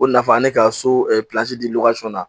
O nafa an ye ka so di na